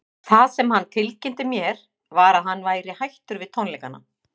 Það sem hann tilkynnti mér var að hann væri hættur við tónleikana.